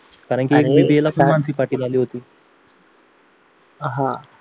कारण की BBA ला ती मानसी पाटील आली होती